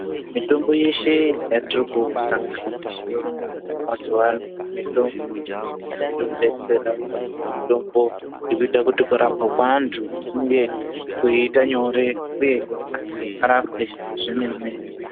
Mitombo yeshe yatirikusangana nayo mazuwano mitombo iri kudetsera vantu mitombo iri kuita kuti kurapwa kweantu kunge kweita nyore uyezve antu arapwe zvemene mene.